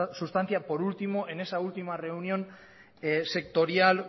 sustancia por último en esa última reunión sectorial